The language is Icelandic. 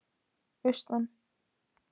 Austmann